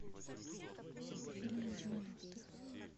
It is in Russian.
фильмы девяностых